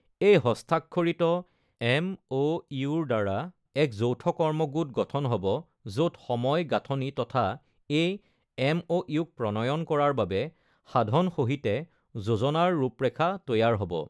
এই হস্তাক্ষৰিত এমঅইউৰ দ্বাৰা এক যৌথ কৰ্ম গোট গঠন হ'ব য'ত সময় গাঁথনি তথা এই এমঅইউক প্ৰণয়ন কৰাৰ বাবে সাধন সহিতে যোজনাৰ ৰূপৰেখা তৈয়াৰ হ'ব।